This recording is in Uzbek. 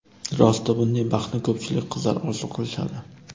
Rosti, bunday baxtni ko‘pchilik qizlar orzu qilishadi.